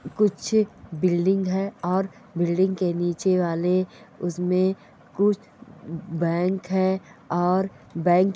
कुछ बिल्डिंग है और बिल्डिंग के नीचे वाले उसमें कुछ बैंक है और बैंक --